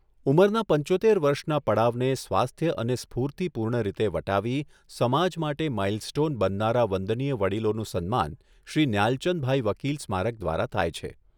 ઉંમરના પંચોતેર વર્ષના પડાવને સ્વાસ્થ્ય અને સ્ફૂર્તિપૂર્ણ રીતે વટાવી સમાજ માટે માઇલસ્ટોન બનનારા વંદનીય વડિલોનું સન્માન શ્રી ન્યાલચંદભાઈ વકિલ સ્મારક દ્વારા થાય છે.